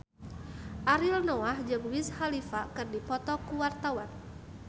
Ariel Noah jeung Wiz Khalifa keur dipoto ku wartawan